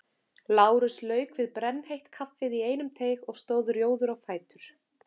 Lárus lauk við brennheitt kaffið í einum teyg og stóð rjóður á fætur.